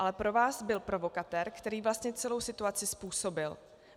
Ale pro vás byl provokatér, který vlastně celou situaci způsobil.